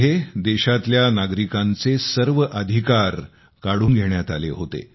त्यामध्ये देशातल्या नागरिकांचे सर्व अधिकार काढून घेण्यात आले होते